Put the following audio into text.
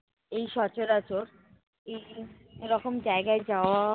এই সচরাচর, এই রকম জায়গায় যাওয়া